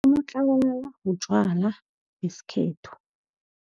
Unotlabalala butjwala besikhethu.